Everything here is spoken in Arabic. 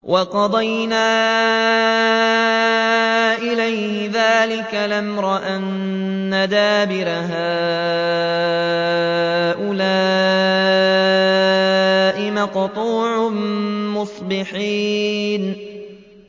وَقَضَيْنَا إِلَيْهِ ذَٰلِكَ الْأَمْرَ أَنَّ دَابِرَ هَٰؤُلَاءِ مَقْطُوعٌ مُّصْبِحِينَ